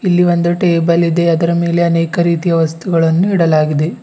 ಇಲ್ಲಿ ಒಂದು ಟೇಬಲ್ ಇದೆ ಅದರ ಮೇಲೆ ಅನೇಕ ರೀತಿಯ ವಸ್ತುಗಳನ್ನು ಇಡಲಾಗಿದೆ.